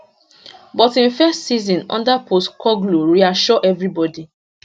but im first season under postecoglou reassure evribodi